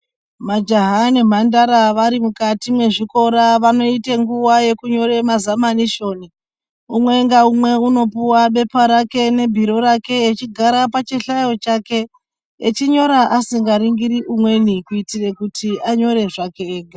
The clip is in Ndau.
Majaha nemhandara vari mukati mwezvikora vanoite nguwa yekunyora mazamanishoni, umwe ngaumwe unopuwa bepa rake nebhiro rake echigara pachihlayo chake achinyora asingaringiri umweni kuti anyore zvake ega.